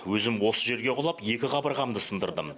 өзім осы жерге құлап екі қабырғамды сындырдым